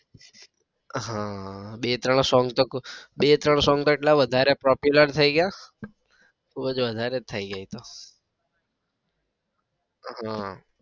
હા બે ત્રણ song બે ત્રણ song તો એટલા popular થઇ ગયા બઉ જ વધારે જ થઇ ગયા એ તો હમ